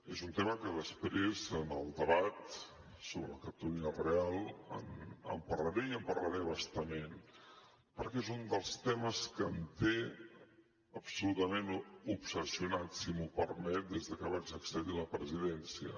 és un tema que després en el debat sobre la catalunya real en parlaré i en parlaré a bastament perquè és un dels temes que em té absolutament obsessionat si m’ho permet des de que vaig accedir a la presidència